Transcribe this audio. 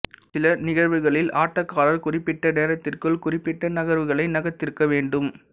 சில நிகழ்வுகளில் ஆட்டக்காரர் குறிப்பிட்ட நேரத்திற்குள் குறிப்பிட்ட நகர்வுகளை நகர்த்தியிருக்க வேண்டும்